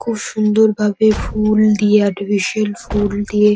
খুব সুন্দরভাবে ফুল দিয়ে আর্টিফিশিয়াল ফুল দিয়ে--